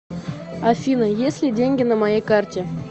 афина есть ли деньги на моей карте